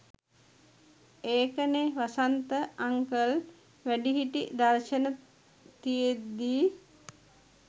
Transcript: එකනේ වසන්ත අන්කල් වැඩිහිටි දර්ශන තියෙද්දී